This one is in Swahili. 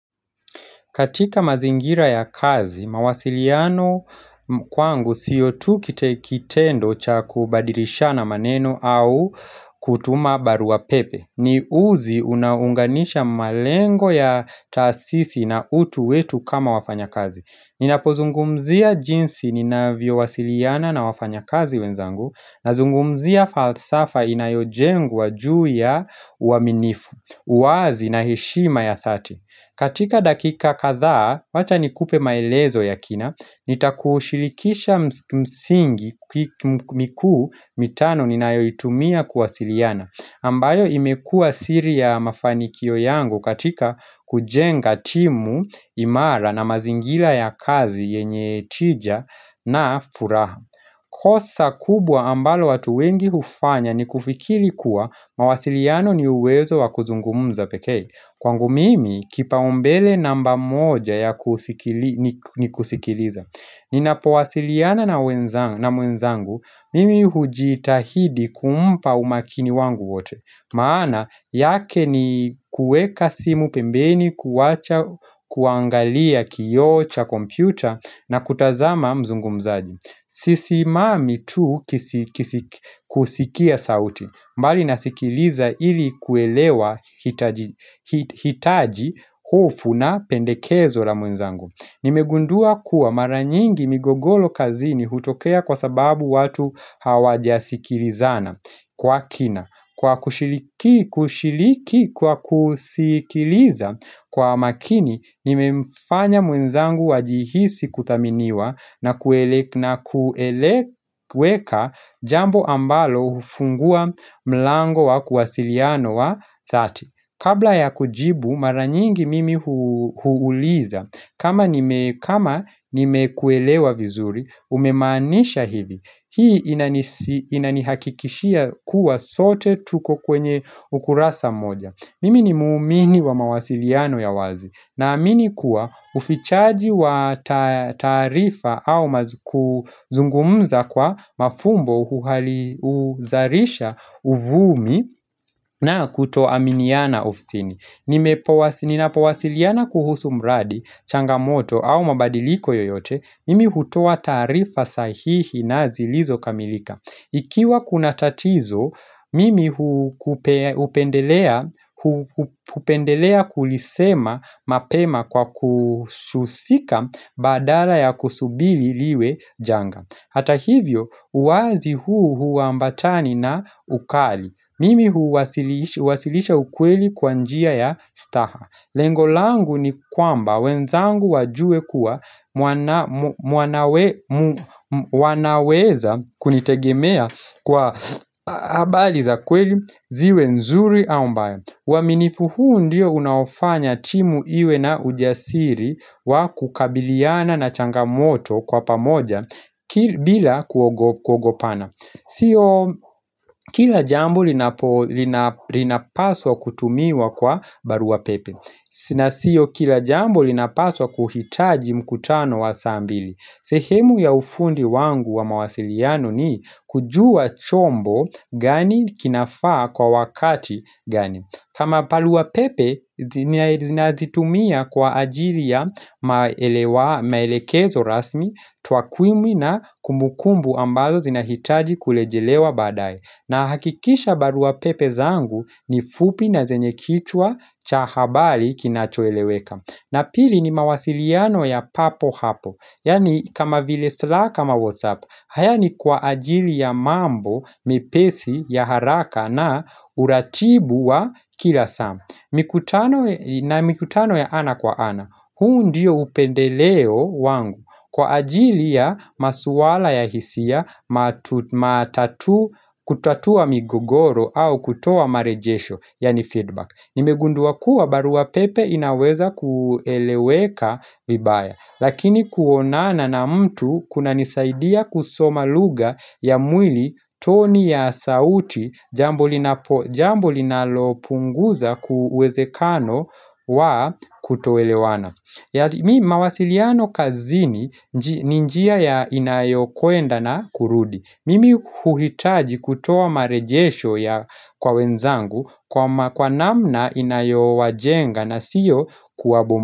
Katika mazingira ya kazi, mawasiliano kwangu siyo tu kitendo cha kubadilishana maneno au kutuma barua pepe. Ni uzi unaounganisha malengo ya taasisi na utu wetu kama wafanya kazi. Ninapozungumzia jinsi ninavyowasiliana na wafanya kazi wenzangu nazungumzia falsafa inayojengwa juu ya uaminifu, uwazi na heshima ya dhadi. Katika dakika kadhaa, wacha nikupe maelezo ya kina, nitakushirikisha msingi mikuu mitano ninayoitumia kuwasiliana, ambayo imekua siri ya mafanikio yangu katika kujenga timu imara na mazingila ya kazi yenye tija na furaha. Kosa kubwa ambalo watu wengi hufanya ni kufikiri kuwa mawasiliano ni uwezo wa kuzungumuza pekee Kwangu mimi kipaumbele namba moja ni kusikiliza Ninapowasiliana na mwenzangu mimi hujitahidi kumpa umakini wangu wote maana yake ni kueka simu pembeni kuacha kuangalia kioo cha kompyuta na kutazama mzungumzaji Sisimami tu kusikia sauti bali nasikiliza ili kuelewa hitaji hofu na pendekezo la mwenzangu Nimegundua kuwa mara nyingi migogolo kazini hutokea kwa sababu watu hawajasikilizana kwa kina Kwa kushiriki kwa kusikiliza kwa makini nimefanya mwenzangu wajihisi kuthaminiwa na kueleweka jambo ambalo hufungua mlango wa kuwasiliano wa dhadi. Kabla ya kujibu mara nyingi mimi huuliza kama nimekuelewa vizuri umemaanisha hivi hii inanihakikishia kuwa sote tuko kwenye ukurasa mmoja Mimi ni muumini wa mawasiliano ya wazi naamini kuwa ufichaji wa taarifa au kuzungumza kwa mafumbo huzalisha uvumi na kuto aminiana ufisini. Ninapowasiliana kuhusu mradi, changamoto au mabadiliko yoyote, mimi hutoa taarifa sahihi na zilizokamilika. Ikiwa kuna tatizo mimi hupendelea kulisema mapema kwa kususika badala ya kusubiri liwe janga. Hata hivyo, uwazi huu huambatani na ukali Mimi huwasilisha ukweli kwa njia ya staha Lengo langu ni kwamba wenzangu wajue kuwa wanaweza kunitegemea kwa habari za kweli ziwe nzuri au mbayo. Uaminifu huu ndiyo unaofanya timu iwe na ujasiri wa kukabiliana na changamoto kwa pamoja bila kuogopana. Sio kila jambo linapaswa kutumiwa kwa barua pepe. Na sio kila jambo linapaswa kuhitaji mkutano wa saa mbili sehemu ya ufundi wangu wa mawasiliano ni kujua chombo gani kinafaa kwa wakati gani kama barua pepe ninazitumia kwa ajili ya maelekezo rasmi twakwimu na kumbukumbu ambazo zinahitaji kurejelewa baadaye. Nahakikisha barua pepe zangu ni fupi na zenye kichwa cha habali kinachoeleweka na pili ni mawasiliano ya papo hapo yaani kama vile slack ama whatsapp. Haya ni kwa ajili ya mambo mipesi ya haraka na uratibu wa kila saa mikutano na mikutano ya ana kwa ana. Huu ndiyo upendeleo wangu Kwa ajili ya maswala ya hisia kutatua kutatua migogoro au kutoa marejesho yaani feedback Nimegundua kuwa barua pepe inaweza kueleweka vibaya Lakini kuonana na mtu kunanisaidia kusoma lugha ya mwili toni ya sauti jambo linalopunguza kuezekano wa kutoelewana mawasiliano kazini ni njia inayokwenda na kurudi Mimi huhitaji kutoa marejesho kwa wenzangu kwa namna inayowajenga na siyo kuwabomoa.